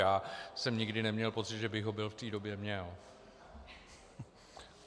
Já jsem nikdy neměl pocit, že by ho byl v té době měl.